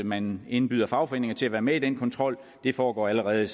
man indbyder fagforeningerne til at være med til den kontrol det foregår allerede